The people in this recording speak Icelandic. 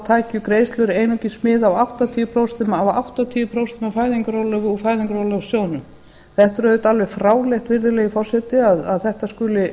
tækju greiðslur einungis mið af áttatíu prósent af prósentum af fæðingarorlofi úr fæðingarorlofssjóðnum þetta er auðvitað alveg fráleitt virðulegi forseti að þetta skuli